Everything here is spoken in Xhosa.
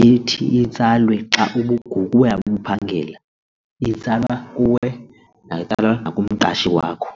ethi itsalwe xa ngokuya ubuphangela itsalwa kuwe yatsalwa kumqashi wakho.